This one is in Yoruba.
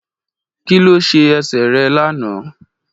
Kí ló ṣe ẹsẹ̀ rẹ̀ lánàá.